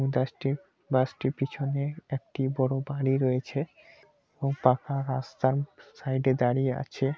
বাস -টির বাস -টির পিছনে একটি বড় বাড়ি রয়েছে এবং পাকা রাস্তা সাইড -এ দাড়িয়ে আছে।